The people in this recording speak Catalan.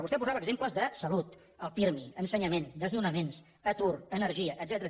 vostè posava exemples de salut el pirmi ensenyament desnonaments atur energia etcètera